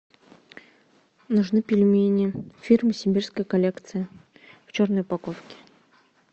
нужны пельмени фирмы сибирская коллекция в черной упаковке